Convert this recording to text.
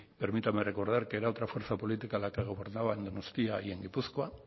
permítame recordar que era otra fuerza política la que gobernaba en donostia y en gipuzkoa